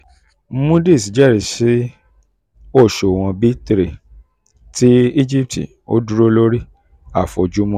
moody's jẹ́rìísí òṣùwọ̀n b three ti um egipti; ó dúró lórí um àfojúsùn rẹ̀.